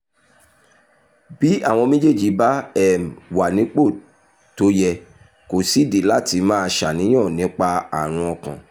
bí àwọn méjèèjì bá um wà nípò tó yẹ kò sídìí láti máa ṣàníyàn nípa àrùn ọkàn